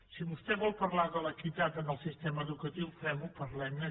si vostè vol parlar de l’equitat en el sistema educatiu fem ho parlem ne